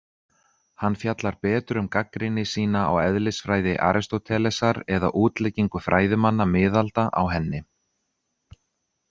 Hann fjallar betur um gagnrýni sína á eðlisfræði Aristótelesar eða útleggingu fræðimanna miðalda á henni.